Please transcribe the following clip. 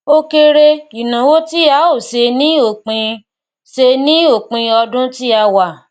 o kere ìnáwó tí a o ṣe ní òpin ṣe ní òpin ọdún tí a wà